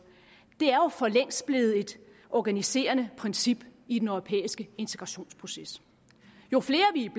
er jo for længst blevet et organiserende princip i den europæiske integrationsproces jo flere vi